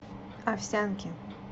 овсянки